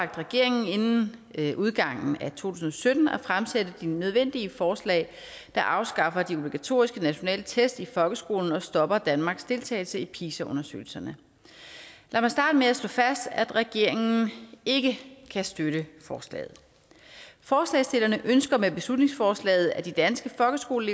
regeringen inden udgangen af tusind og sytten at fremsætte de nødvendige forslag der afskaffer de obligatoriske nationale tests i folkeskolen og stopper danmarks deltagelse i pisa undersøgelserne lad mig starte med at slå fast at regeringen ikke kan støtte forslaget forslagsstillerne ønsker med beslutningsforslaget at de danske folkeskoler